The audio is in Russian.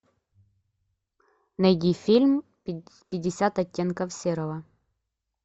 найди фильм пятьдесят оттенков серого